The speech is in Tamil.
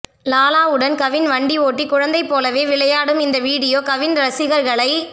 லாலாவுடன் கவின் வண்டி ஓட்டி குழந்தை போலவே விளையாடும் இந்த வீடியோ கவின் ரசிகர்களை